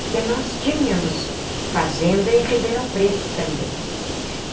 Porque nós tínhamos fazenda em Ribeirão Preto também.